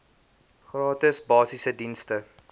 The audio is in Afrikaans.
gratis basiese dienste